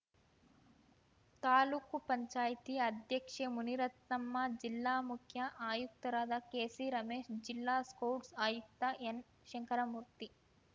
ತಾಲೂಕು ಪಂಚಾಯಿತಿ ಅಧ್ಯಕ್ಷೆ ಮುನಿರತ್ನಮ್ಮ ಜಿಲ್ಲಾ ಮುಖ್ಯ ಆಯುಕ್ತರಾದ ಕೆಸಿರಮೇಶ್‌ ಜಿಲ್ಲಾ ಸ್ಕೌಟ್‌ ಆಯುಕ್ತ ಎನ್‌ಶಂಕರಮೂರ್ತಿ